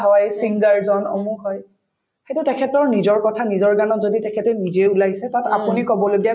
হয়, singer জন অমুক হয় সেইটো তেখেতৰ নিজৰ কথা নিজৰ গানত যদি তেখেতে নিজে ওলাই আহিছে তাত আপুনি কব লগীয়া